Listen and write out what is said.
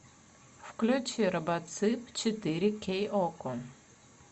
включи робоцып четыре кей окко